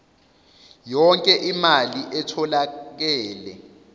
yonke imali etholakele